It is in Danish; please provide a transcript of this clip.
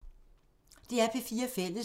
DR P4 Fælles